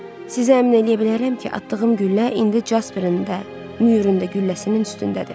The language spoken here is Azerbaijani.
Sizə əmin eləyə bilərəm ki, atdığım güllə indi Casperin də, Myurun da gülləsinin üstündədir.